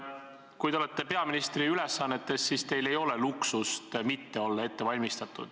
Kui te olete peaministri ülesannetes, siis te ei saa endale lubada luksust mitte olla ette valmistatud.